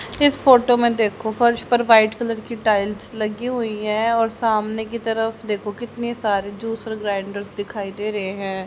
इस फोटो में देखो फर्श पर वाइट कलर की टाइल्स लगी हुई है और सामने की तरफ देखो कितने सारे ज्यूसर ग्राइंडर्स दिखाई दे रहे हैं।